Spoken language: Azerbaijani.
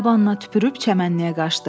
Dabanına tüpürüb çəmənliyə qaçdı.